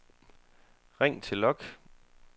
ring til log